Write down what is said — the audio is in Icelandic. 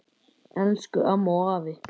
Elsku amma og afi.